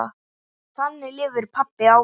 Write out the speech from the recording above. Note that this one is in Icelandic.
Þannig lifir pabbi áfram.